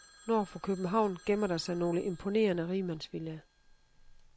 Nord for København gemmer der sig nogle imponerende rigmandsvillaer.